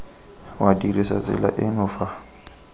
wa dirisa tsela eno fa